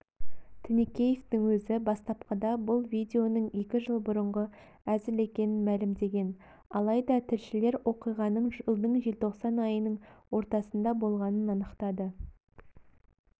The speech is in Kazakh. тінікеевтің өзі бастапқыда бұл видеоның екі жыл бұрынғы әзіл екенін мәлімдеген алайдатілшілероқиғаның жылдың желтоқсан айының ортасында болғанын анықтады